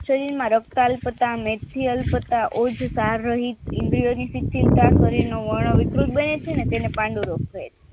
શરીરમાં રક્ત કાર્ય કરતા મેકસીઅલ તથા ઉચ્છ શારીરિક ઇન્દ્રિઓની શિથિલતા શરીરનું વર્ણ વિકૃત બને છે અને તેને પાંડુ રોગ કહે છે